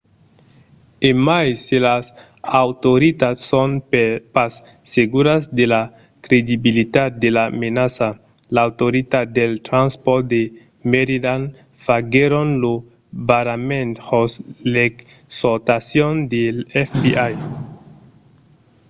e mai se las autoritats son pas seguras de la credibilitat de la menaça l’autoritat dels transpòrts de maryland faguèron lo barrament jos l’exortacion del fbi